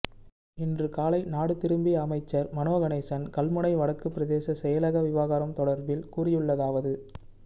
இன்று காலை நாடு திரும்பிய அமைச்சர் மனோ கணேசன் கல்முனை வடக்கு பிரதேச செயலக விவகாரம் தொடர்பில் கூறியள்ளதாவது